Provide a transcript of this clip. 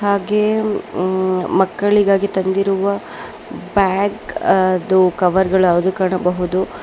ಹಾಗೆ ಮಕ್ಕಳಿಗಾಗಿ ತಂದಿರುವ ಬ್ಯಾಗ್ ಕವರ್ ಗಳ ಕಾಣಬಹುದು.